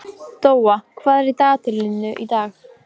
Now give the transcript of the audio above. Rafnhildur, hvaða dagur er í dag?